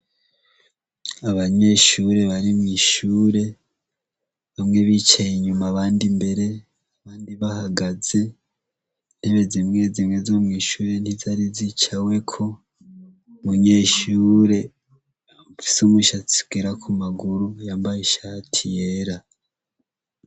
Abanyeshure bari mw'ishure bamwe bicaye inyuma abandi mbere abandi bahagaze intebe zimwe zimwe zo mw'ishure ntizari zicaweko munyeshure afise umushatsi ugera ku maguru yambaye ishati yera.